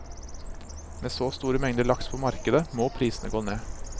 Med så store mengder laks på markedet, må prisene gå ned.